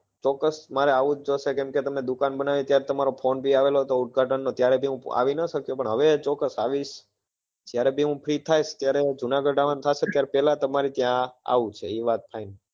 ચોક્કસ મારે આવું જ પડશે કેમ કે તમે દુકાન બનાવી ત્યારે તમ્મારો ફોન બી આવેલો હતો ઉદ્ઘાટન નો ત્યારે બી હું આવી નાં સક્યો પણ હવે ચોક્કસ આવીશ જયારે બી હું free થઈશ ત્યારે જુનાગઢ આવવા થશે ત્યારે પેલા તમારે ત્યાં આવવું છે એ વાત final